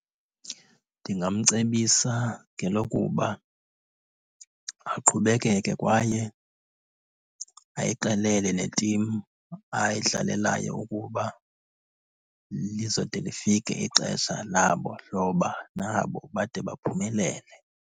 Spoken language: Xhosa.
Ndingamcebisa ngelokuba aqhubekeke kwaye ayixelele netimu ayidlalelayo ukuba lizode lifike ixesha labo loba nabo bade baphumelele.